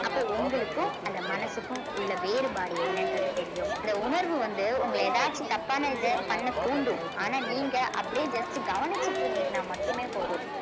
அப்போ உங்களுக்கும் அந்த மனசுக்கும் உள்ள வேறுபாடு என்னன்றது தெரியும் இந்த உணர்வு வந்து உங்கள ஏதாச்சும் தப்பான இத பண்ண தூண்டும் ஆனா நீங்க அப்படியே just கவனிச்சுட்டு இருந்தீங்கன்னா மட்டுமே போதும்